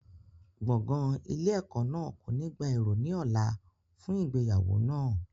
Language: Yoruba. Gbọ̀ngàn ilé ẹ̀kọ́ náà kò ní gba èrò ní ọ̀la fún ìgbéyàwó náà.